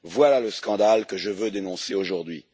Voilà le scandale que je veux dénoncer aujourd'hui.